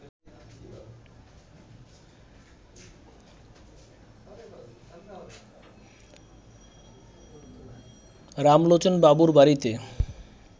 রামলোচনবাবুর বাড়িতে